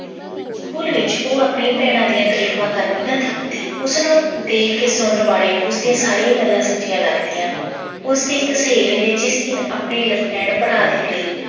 school ਵਿੱਚ ਉਹ ਆਪਣੀਆਂ ਭੈਣਾਂ ਦੀਆਂ ਤਰੀਫਾਂ ਕਰਦੀ ਨਾ ਥੱਕਦੀ। ਉਸਨੂੰ ਦੇਖ ਕੇ ਸੁਣਨ ਵਾਲੇ ਨੂੰ ਉਸਦੀਆਂ ਸਾਰੀਆਂ ਗੱਲਾਂ ਸੱਚੀਆਂ ਲੱਗਦੀਆਂ ਉਸਦੀ ਇੱਕ ਸਹੇਲੀ ਨੇ ਜਿਸ ਦਿਨ ਆਪਣੇ ਭਰਾ ਦੇ ਲਈ